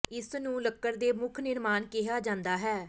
ਇਸ ਨੂੰ ਲੱਕੜ ਦੇ ਮੁੱਖ ਨਿਰਮਾਣ ਕਿਹਾ ਜਾਂਦਾ ਹੈ